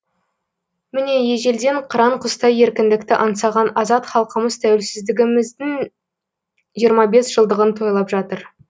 міне ежелден қыран құстай еркіндікті аңсаған азат халқымыз тәуелсіздігіміздің жиырма бес жылдығын тойлап жатыр